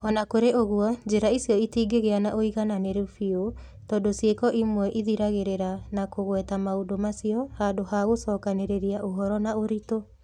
O na kũrĩ ũguo, njĩra icio itingĩgĩa na ũigananĩru biũ tondũ ciiko imwe ithiragĩrĩria na kũgweta maũndũ macio, handũ ha gũcokanĩrĩria ũhoro na ũritũ.